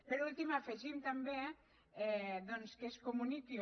per últim afegim també doncs que es comuniqui